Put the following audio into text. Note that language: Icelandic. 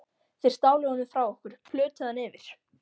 Þeir stálu honum frá okkur, plötuðu hann yfir.